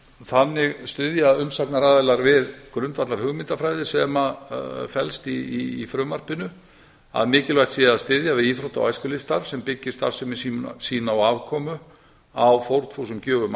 þannig styðja umsagnaraðilar við grundvallarhugmyndafræði sem felst í frumvarpinu að mikilvægt sé að styðja við íþrótta og æskulýðsstarf sem byggir starfsemi sína á afkomu á fórnfúsum gjöfum